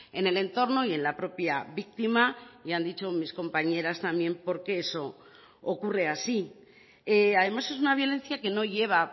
en el entorno y en la propia víctima y han dicho mis compañeras también porque eso ocurre así además es una violencia que no lleva